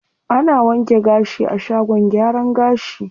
Ana wanke gashi a shagon gyaran gashi.